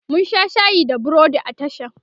mun Sha shayi da burodi a tashan